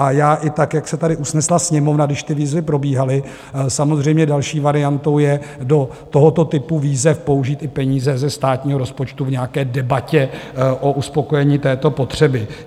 A já i tak, jak se tady usnesla Sněmovna, když ty výzvy probíhaly, samozřejmě další variantou je do tohoto typu výzev použít i peníze ze státního rozpočtu v nějaké debatě o uspokojení této potřeby.